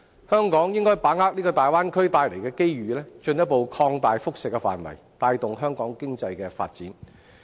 香港應把握大灣區帶來的機遇，進一步擴大輻射範圍，帶動香港經濟的發展。